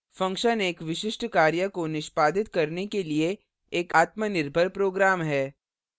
function एक विशिष्ट कार्य को निष्पादित करने के लिए एक आत्मनिर्भर program है